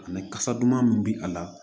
Ani kasa duman min bɛ a la